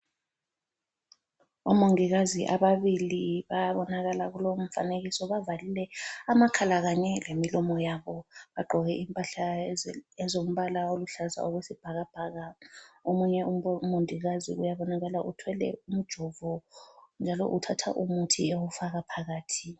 Omongikazi ababili bayabonakala kulowumfanekiso bavalile amakhala kanye lemilomo yabo bagqoke impahla ezombala oluhlaza okwesibhakabhaka. Omunye umongikazi uyabonakala uthwele umjovo njalo uthatha umuthi ewufaka phakathi.